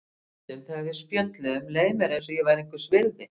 Stundum þegar við spjölluðum leið mér eins og ég væri einhvers virði.